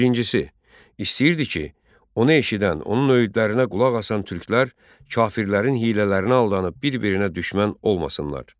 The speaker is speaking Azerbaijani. Birincisi, istəyirdi ki, onu eşidən, onun öyüdlərinə qulaq asan türklər kafirlərin hiylələrinə aldanıb bir-birinə düşmən olmasınlar.